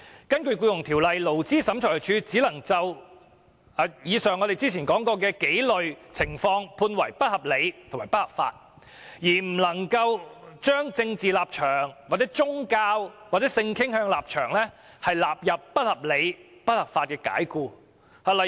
根據《僱傭條例》，勞資審裁處只能裁定以上提及的幾類情況為不合理及不合法解僱，而不能把因為政治立場、宗教和性傾向而解僱員工的情況裁定為不合理及不合法解僱。